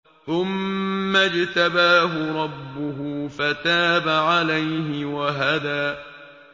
ثُمَّ اجْتَبَاهُ رَبُّهُ فَتَابَ عَلَيْهِ وَهَدَىٰ